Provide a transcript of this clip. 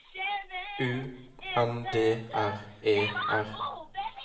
U N D R E R